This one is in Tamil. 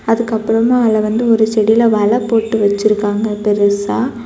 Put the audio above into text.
அதுக்கு அப்புறமா அதுல வந்து ஒரு செடியில வலை போட்டு வச்சிருக்காங்க பெருசா.